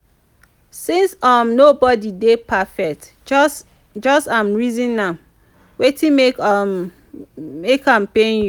since um nobodi dey perfect jus jus um reason am wetin mek um mek am pain yu